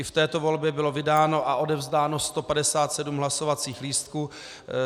I v této volbě bylo vydáno a odevzdáno 157 hlasovacích lístků.